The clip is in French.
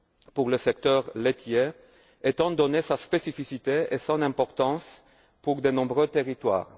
pour le secteur laitier, étant donné sa spécificité et son importance pour de nombreux territoires.